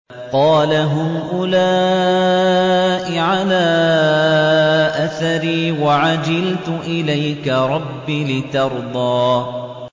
قَالَ هُمْ أُولَاءِ عَلَىٰ أَثَرِي وَعَجِلْتُ إِلَيْكَ رَبِّ لِتَرْضَىٰ